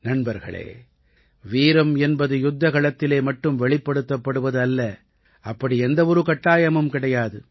நண்பர்களே வீரம் என்பது யுத்தகளத்திலே மட்டும் வெளிப்படுத்தப்படுவது அல்ல அப்படி எந்த ஒரு கட்டாயமும் கிடையாது